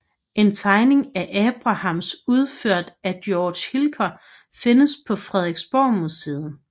En tegning af Abrahams udført af Georg Hilker findes på Frederiksborgmuseet